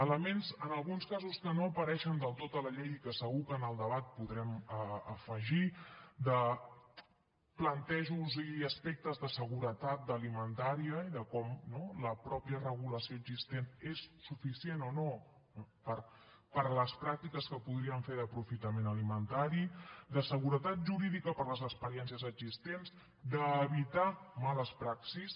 elements en alguns casos que no apareixen del tot a la llei i que segur que en el debat podrem afegir de plantejos i aspectes de seguretat alimentària i de com la mateixa regulació existent és suficient o no per a les pràctiques que podríem fer d’aprofitament alimentari de seguretat jurídica per a les experiències existents d’evitar males praxis